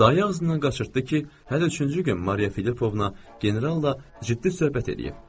Daya ağzından qaçırtdı ki, hələ üçüncü gün Mariya Filipovna general ilə ciddi söhbət eləyib.